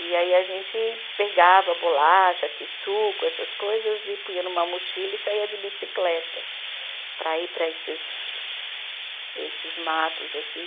E aí a gente pegava bolacha, kisuco, essas coisas, e punha numa mochila e saía de bicicleta para ir para esses, esses matos, assim.